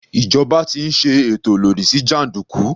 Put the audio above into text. Ìjọba ti ń ṣe ètò lòdì sí jàndùkú.